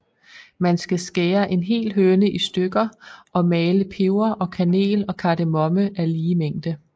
Man skal skære en hel høne i stykker og male peber og kanel og kardemomme af lige mængde